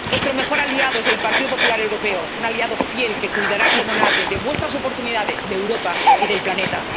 mundo. Vuestro mejor aliado es el Partido Popular Europeo, un aliado fiel que cuidará como nadie de vuestras oportunidades, de Europa y del planeta.